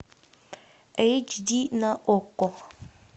эйч ди на окко